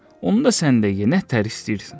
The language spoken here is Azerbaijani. Onda sən də ye nə təhər istəyirsən.